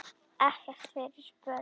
Ekkert fyrir börn.